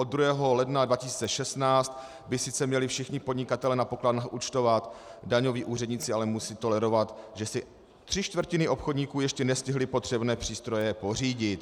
Od 2. ledna 2016 by sice měli všichni podnikatelé na pokladnách účtovat, daňoví úředníci ale musí tolerovat, že si tři čtvrtiny obchodníků ještě nestihly potřebné přístroje pořídit.